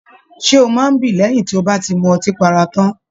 Ṣe o máa n bí lẹyìn tí o ba m'ọtí para tán?